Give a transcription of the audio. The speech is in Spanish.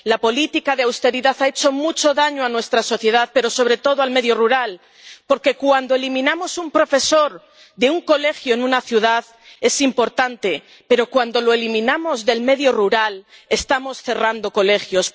La política de austeridad ha hecho mucho daño a nuestra sociedad, pero sobre todo al medio rural, porque cuando eliminamos un profesor de un colegio en una ciudad es importante, pero cuando lo eliminamos del medio rural estamos cerrando colegios.